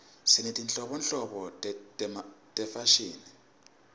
sinetinhlobonhlobo tefashini